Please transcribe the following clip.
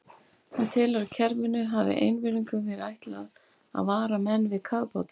Hann telur, að kerfinu hafi einvörðungu verið ætlað að vara menn við kafbátum.